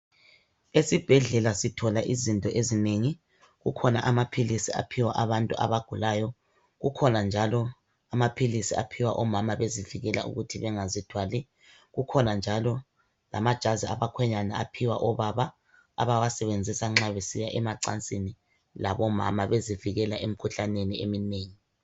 esibhedlela sithola izinto ezinengi kukhona amaphilisi aphiwa abantu abagulayo kukhona njalo amaphilisi aphiwa omama bezivikela ukuthi bengazithwali kukhona njalo lamajazi abakhwenyana aphiwa obaba abawasebenzisa nxa besiya emacansini labo mama bezivikela emikhuhlaneni eminengi